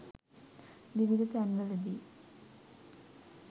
විවිධ තැන්වලදී